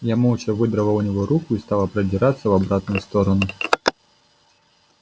я молча выдрала у него руку и стала продираться в обратную сторону